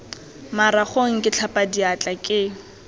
maragong ke tlhapa diatla ke